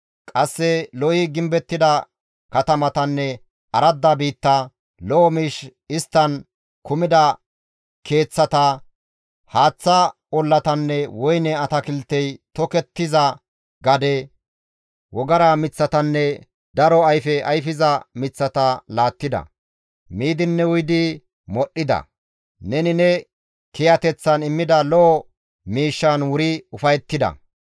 Qasse lo7i gimbettida katamatanne aradda biitta, lo7o miish isttan kumida keeththata, haaththa ollatanne woyne atakiltey tokettiza gade, wogara miththatanne daro ayfe ayfiza miththata laattida; Miidinne uyidi modhdhida; neni ne kiyateththan immida lo7o miishshan wuri ufayettida.